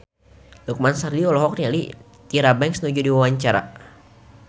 Lukman Sardi olohok ningali Tyra Banks keur diwawancara